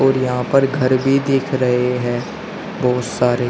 और यहां पर घर भी देख रहे हैं बहुत सारे।